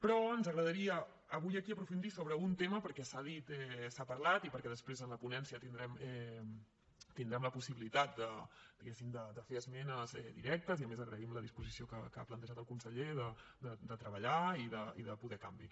però ens agradaria avui aquí aprofundir sobre un tema perquè s’ha dit s’ha parlat i perquè després en la ponència tindrem la possibilitat diguemne de fer esmenes directes i a més agraïm la disposició que ha plantejat el conseller de treballar i de poder canviar